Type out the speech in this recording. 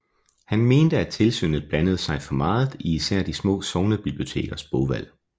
Han mente at Tilsynet blandede sig for meget i især de små sognebibliotekers bogvalg